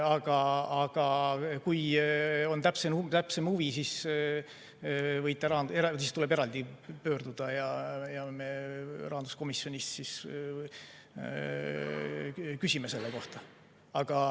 Aga kui on täpsem huvi, siis tuleb eraldi pöörduda ja me rahanduskomisjonis siis küsime selle kohta.